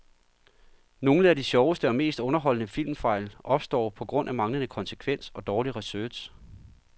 Nogle af de sjoveste og mest underholdende filmfejl opstår på grund af manglende konsekvens og dårlig research.